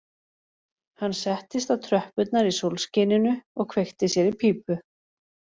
Hann settist á tröppurnar í sólskininu og kveikti sér í pípu